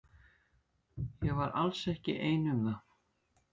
Ég var alls ekki ein um það.